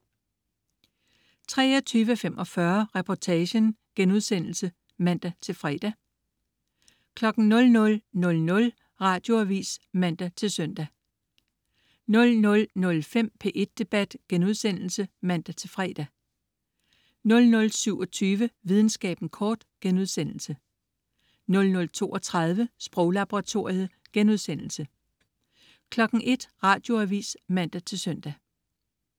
23.45 Reportagen* (man-fre) 00.00 Radioavis (man-søn) 00.05 P1 Debat* (man-fre) 00.27 Videnskaben kort* 00.32 Sproglaboratoriet* 01.00 Radioavis (man-søn)